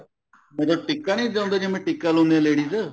ਵੀ ਉਹ ਟਿੱਕਾ ਨੀ ਜਿੱਦਾਂ ਹੁੰਦਾ ਟਿੱਕਾ ਲਾਉਂਦੇ ਏ ladies